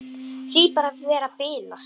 Hlýt bara að vera að bilast.